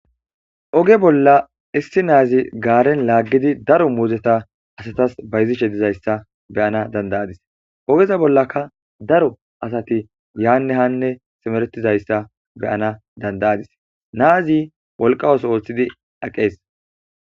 oge bolla issi naazi gaaren laaggidi daro muuzeta asatas bayzishe dizayssa beyana dandayadis ogeza bollaka daro asati yaanne hanne simeretizayssa beyana dandayadis naazi wolqawos oolthidi aqees